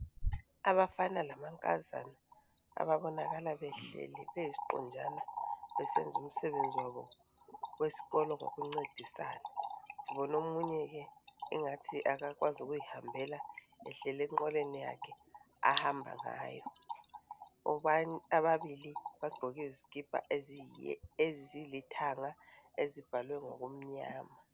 Abafana lamankazana ababonakal behleli besisiqunjana besenza umsebenzi wabo wesikolo ngokuncedisana sibona omunye ke engathi kakwazi ukuyihambela ehleli enqoleni yakhe ahambangayo bablili bagqoke izikipha ezilithanga ezibhalwe ngokumnyama